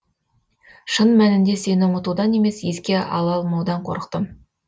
шын мәнінде сені ұмытудан емес еске ала алмаудан қорықтым